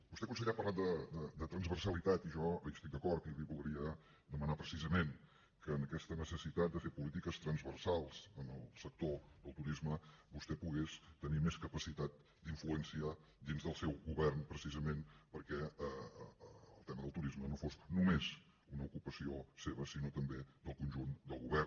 vostè conseller ha parlat de transversalitat i jo hi estic d’acord i li voldria demanar precisament que en aquesta necessitat de fer polítiques transversals en el sector del turisme vostè pogués tenir més capacitat d’influenciar dins del seu govern precisament perquè el tema del turisme no fos només una ocupació seva sinó també del conjunt del govern